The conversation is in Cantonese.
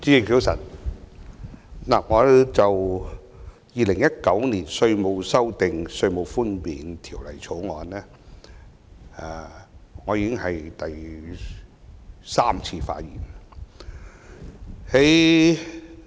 這次已是我就《2019年稅務條例草案》第三次發言。